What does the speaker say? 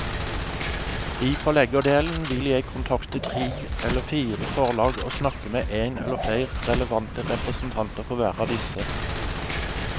I forleggerdelen vil jeg kontakte tre eller fire forlag og snakke med en eller flere relevante representanter for hver av disse.